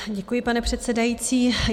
Děkuji, pane předsedající.